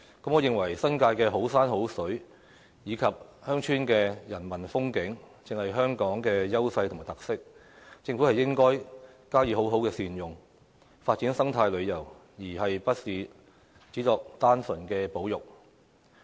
我認為，新界的好山好水，以及鄉村的人文風景，正是香港的優勢與特色，政府應該加以好好善用，發展生態旅遊，而不是只作單純保育。